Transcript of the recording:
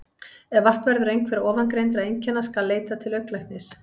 Ef vart verður einhverra ofangreindra einkenna skal leita til augnlæknis.